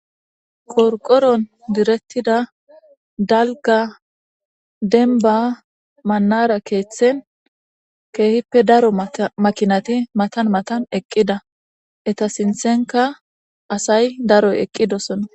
Qorqoron direttida dalga denba mannara keeththen keehippe daro makinate matan matan eqqida eta sinthenka asay daroy eqqidosona.